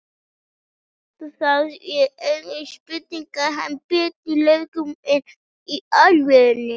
Það er engin spurning að hann er betri leikmaður, enn í alvöru?